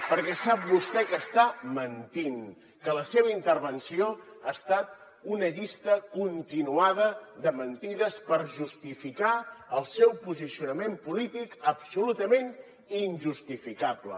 perquè sap vostè que està mentint que la seva intervenció ha estat una llista continuada de mentides per justificar el seu posicionament polític absolutament injustificable